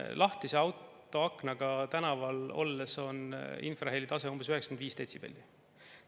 Lahtise aknaga autos tänaval olles on infrahelitase umbes 95 detsibelli.